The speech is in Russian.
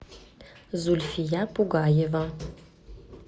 зульфия пугаева